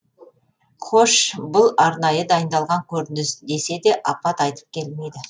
хош бұл арнайы дайындалған көрініс десе де апат айтып келмейді